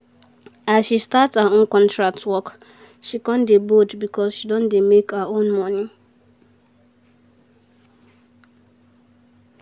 as she start her own contract work she come bold because she dey make her own money.